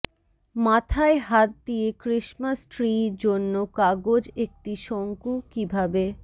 মাথায় হাত দিয়ে ক্রিসমাস ট্রি জন্য কাগজ একটি শঙ্কু কিভাবে